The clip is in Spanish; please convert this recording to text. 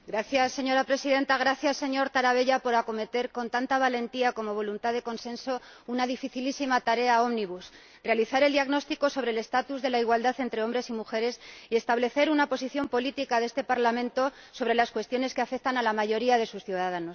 Señora Presidenta, gracias señor Tarabella por acometer con tanta valentía como voluntad de consenso una dificilísima tarea ómnibus realizar un diagnóstico sobre la situación de la igualdad entre hombres y mujeres y establecer una posición política de este Parlamento sobre las cuestiones que afectan a la mayoría de sus ciudadanos.